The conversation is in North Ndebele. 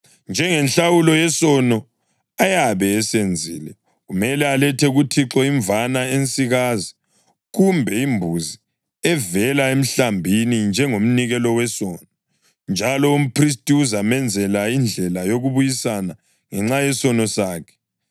Njengenhlawulo yesono ayabe esenzile, kumele alethe kuThixo imvana ensikazi kumbe imbuzi evela emhlambini njengomnikelo wesono, njalo umphristi uzamenzela indlela yokubuyisana ngenxa yesono sakhe.